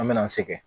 An me na an sɛgɛn